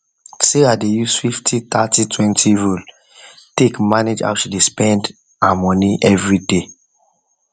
sarah dey use 503020 rule take manage how she dey spend dey spend her money every day